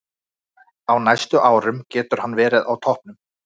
Á næstu árum getur hann verið á toppnum.